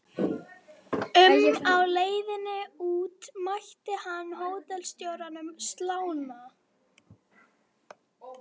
Borgfirðingar glöddust þegar þeir höfðu endurheimt sinn barón.